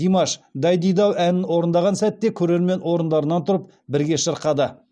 димаш дайдидау әнін орындаған сәтте көрермен орындарынан тұрып бірге шырқады